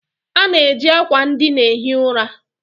A na-eji akwa ndịna ehi ura.